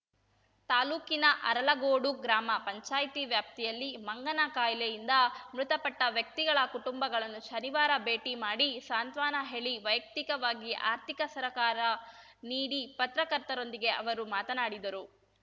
ತಾಲೂಕಿನ ಅರಲಗೋಡು ಗ್ರಾಮ ಪಂಚಾಯಿತಿ ವ್ಯಾಪ್ತಿಯಲ್ಲಿ ಮಂಗನ ಕಾಯಿಲೆಯಿಂದ ಮೃತಪಟ್ಟವ್ಯಕ್ತಿಗಳ ಕುಟುಂಬಗಳನ್ನು ಶನಿವಾರ ಭೇಟಿ ಮಾಡಿ ಸಾಂತ್ವನ ಹೇಳಿ ವೈಯಕ್ತಿಕವಾಗಿ ಆರ್ಥಿಕ ಸರಕಾರ ನೀಡಿ ಪತ್ರಕರ್ತರೊಂದಿಗೆ ಅವರು ಮಾತನಾಡಿದರು